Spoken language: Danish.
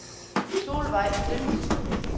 Solveig Klemmensen